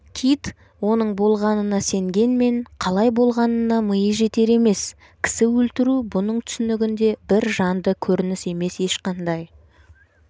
кит оның болғанына сенгенмен қалай болғанына миы жетер емес кісі өлтіру бұның түсінігінде бір жанды көрініс емес ешқандай